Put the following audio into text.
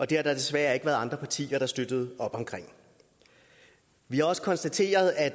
det har der desværre ikke været andre partier der støttede op om vi har også konstateret at